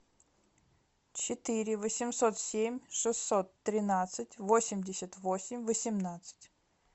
четыре восемьсот семь шестьсот тринадцать восемьдесят восемь восемнадцать